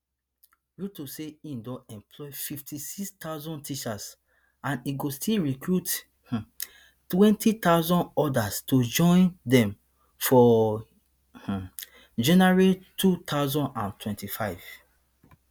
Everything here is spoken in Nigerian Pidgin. ruto say e don employ fifty-six thousand teachers and e go still recruit um twenty thousand odas to join dem for um january two thousand and twenty-five